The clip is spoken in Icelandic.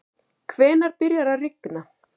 hvenær byrjar að rigna